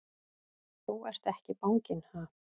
Þú ert ekki banginn, ha!